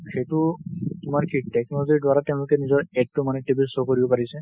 সেইটো তোমাৰ কি technology দ্বাৰা তেওঁলোকে নিজেৰ AD তো মানে TV ত show কৰিব পাৰিছে।